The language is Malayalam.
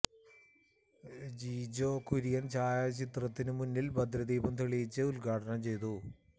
ജി ജോ കുര്യൻ ഛായാചിത്രത്തിനു മുന്നിൽ ഭദ്രദീപം തെളിയിച്ച് ഉദ്ഘാടനം ചെയ്തു